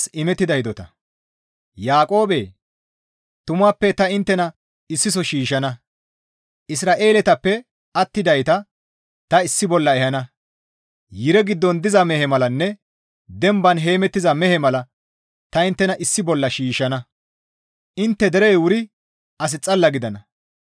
«Yaaqoobe! Tumappe ta inttena issiso shiishshana; Isra7eeletappe attidayta ta issi bolla ehana; yire giddon diza mehe malanne demban heemettiza mehe mala tani inttena issi bolla shiishshana; intte derey wuri as xalla gidana.